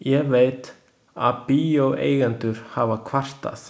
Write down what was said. Ég veit, að bíóeigendur hafa kvartað.